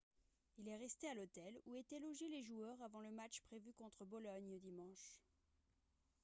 il est resté à l'hôtel où étaient logés joueurs avant le match prévu contre bologne dimanche